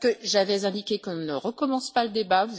J'avais indiqué qu'on ne recommence pas le débat.